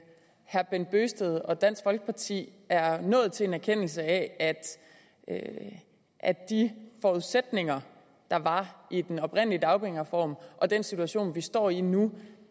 herre bent bøgsted og dansk folkeparti er nået til en erkendelse af at at de forudsætninger der var i den oprindelige dagpengereform og den situation vi står i nu